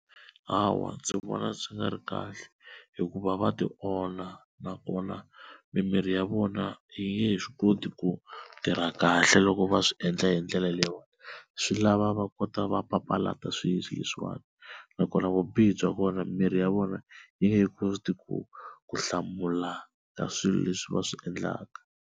Hawa ndzi vona swi nga ri kahle hikuva va tionha, nakona mimiri ya vona yi nge he swi koti ku tirha kahle loko va swi endla hi ndlela leyiwani, swi lava va kota va papalata swilo leswiwani nakona vubihi bya kona mimiri ya vona yi nge koti ku ku hlamula ka swilo leswi va swi endlaka.